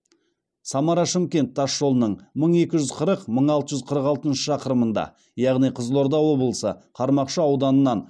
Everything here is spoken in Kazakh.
самара шымкент тасжолының мың екі жүз қырық мың алты жүз қырық алтыншы шақырымында яғни қызылорда облысы қармақшы ауданынан